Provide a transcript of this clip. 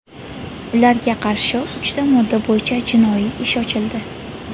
Ularga qarshi uchta modda bo‘yicha jinoiy ish ochildi.